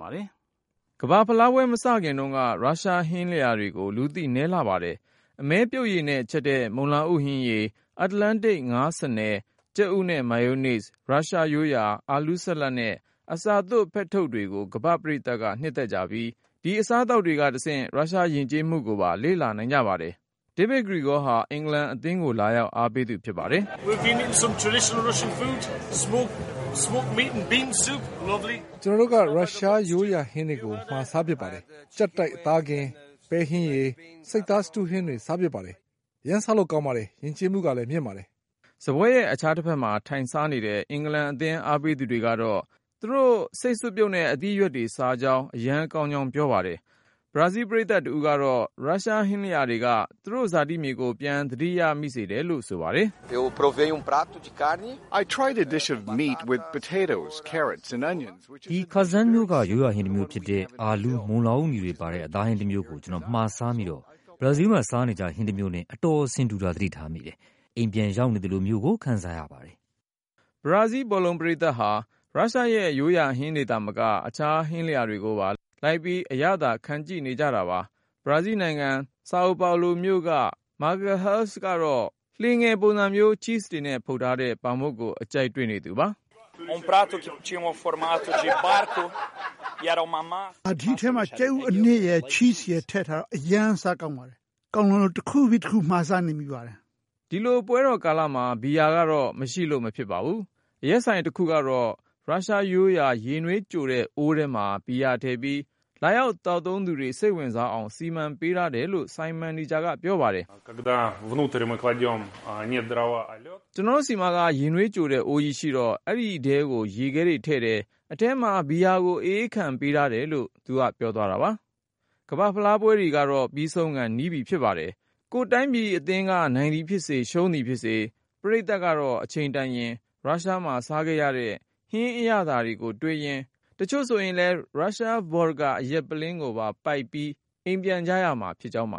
ပါ။ ကမ္ဘာ့ဖလားပွဲ မစခင်တုန်းက ရုရှားဟင်းလျာတွေဟာ လူသိနည်းလှပါတယ်။ အမဲပြုတ်ရည်နဲ့ချက်တဲ့ မုန်လာဥဟင်းရည်၊ အတ္တလန်တိတ် ငါးဆားနယ်၊ ကြက်ဥနဲ့ မာယိုးနိဇ်၊ ရုရုားရိုးရာ အာလူးဆလပ်နဲ့ အစာသွပ်ဖက်ထုတ်တွေကို ကမ္ဘာ့ပရိသတ်က နှစ်သက်ကြပြီး ဒီအစားသောက် တွေကတဆင့် ရုရှားယဉ်ကျေးမှုကိုပါ လေ့လာနိုင်ကြပါတယ်။ DAVID GREGORY ဟာ အင်္ဂလန်အသင်းကို လာရောက် အားပေးသူ ဖြစ်ပါတယ်။ "ကျနော်တို့က ရုရှားရိုးရာဟင်းတွေ မှာစားဖြစ်တယ်။ ကြပ်တိုက် အသားကင်၊ ပဲစွပ်ပြုတ်၊ ဆိပ်စတူးဟင်းတွေ စားဖြစ်ပါတယ်။ အရမ်း စားကောင်းပါတယ်၊ ယဉ်ကျေးမှုကလည်း မြင့်ပါတယ်။" စားပွဲရဲ့ အခြားတဖက်မှာ ထိုင်စားနေတဲ့ အင်္ဂလန်အသင်း အားပေးသူတွေကတော့ သူတို့ ဆိပ်စွပ်ပြုတ်နဲ့ အသီးအရွက်တွေ စားကြောင်း အရမ်းကောင်းကြောင်း ပြောပါတယ်။ ဘရာဇီးပရိသတ်တဦးကတော့ ရုရှားဟင်းလျာတွေက သူ့ရဲ့ဇာတိမြေကို ပြန်သတိရစေတယ်လို့ ဆိုပါတယ်။ "ဒီ(ခါဇန်)မြို့က ရိုးရာဟင်းတမျိုးဖြစ်တဲ့ အာလူး၊ မုန်လာဥနီတွေပါတဲ့ အသားဟင်းတမျိုးကို ကျနော် မှာစားမိတော့ ဘရာဇီးမှာ စားနေကျဟင်း တမျိုးနဲ့ အတော်ဆင်တူတာ သတိထားမိပါတယ်။ အိမ်ပြန်ရောက်နေသလိုမျိုး ခံစားရပါတယ်။" ဘရာဇီးဘောလုံးပရိသတ်ဟာ ရုရှားရဲ့ရိုးရာဟင်းတွေသာမကပဲ အခြားဟင်းလျာတွေပါ လိုက်ပြီး အရသာခံကြည့်နေကြတာပါ။ ဘရာဇီးနိုင်ငံ Sao Paulo မြို့က Marcello Magalhaes ကတော့ လှေငယ်ပုံစံမျိုး ချိဇ်တွေနဲ့ ဖုတ်ထားတဲ့ ပေါင်မုန့်ကို အကြိုက်တွေ့နေသူပါ။ "ဒီထဲမှာ ကြက်ဥအနှစ်ရယ် ချိဇ်ရယ် ထည့်ထားတော့ အရမ်း စားကောင်းပါတယ်။ ကောင်းလွန်းလို့ တခုပြီးတခု မှားစားနေမိပါတယ်။" ဒီလိုပွဲတော်ကာလမှာ ဘီယာကတော့ မရှိလို့ မဖြစ်ပါဘူး။ အရက်ဆိုင်တခုတော့ ရုရှားရိုးရာ ရေနွေးကြိုတဲ့အိုးထဲမှာ ဘီယာထည့်ပြီး လာသောက်သူတွေ စိတ်ဝင်စားအောင် စီမံပေးထားတယ်လို့ ဆိုင်မန်နေဂျာကပြောပါတယ်။ "ကျနော်တို့ဆီမှာ ရေနွေးကြိုတဲ့အိုးကြီးရှိတော့ အဲဒီထဲကို ရေခဲထည့်တယ်၊ အထဲမှာ ဘီယာကို အအေးခံတယ်။" ကမ္ဘာ့ဖလားပွဲတွေ ပြီးဆုံးခါ နီးပြီဖြစ်ပါတယ်။ ကိုယ့်တိုင်းပြည် အသင်းက နိုင်သည်ဖြစ်စေ ရှုံးသည်ဖြစ်စေ၊ ပရိသတ်ကတော့ အချိန်တန်ရင် ရုရှားမှာစားခဲ့ရတဲ့ ဟင်းအရသာကိုတွေးရင်း၊ တချို့လည်း ရုရှား vodka အရက်ပုလင်းကိုပါ ပိုက်လို့ အိမ်ပြန်ကြရမှာဖြစ်ကြောင်းပါ